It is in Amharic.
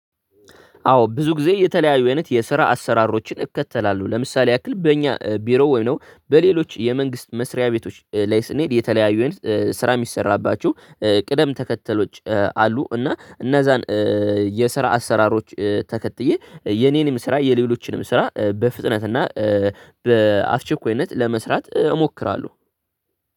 አዎ ብዙ ጊዜ የተለያዩ አይነት የስራ አሰራሮችን እከተላለሁ ለምሳሌ ያክል በእኛ ቢሮ ወይም ደግሞ በሌሎች የመንግስት መስሪያ ቤቶች ላይ ስንሄድ የተለያዩ ስራ የሚሰራባቸው ቅደም ተከተሎች አሉ። እና እነዛን የስራ አሰራሮች ተከትዬ የእኔንም ስራ የሌሎችንም ስራ በፍጥነት እና በአስቸኳይነት ለመስራት ሞክራለው።